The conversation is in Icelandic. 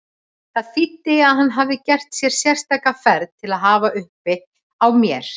Það þýddi að hann hafði gert sér sérstaka ferð til að hafa uppi á mér.